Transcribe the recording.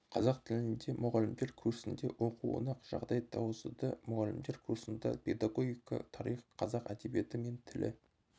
қазақ тіліндегі мұғалімдер курсінде оқуына жағдай туғызды мұғалімдер курсында педагогика тарих қазақ әдебиеті мен тілі